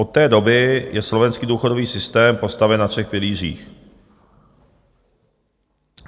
Od té doby je slovenský důchodový systém postaven na třech pilířích.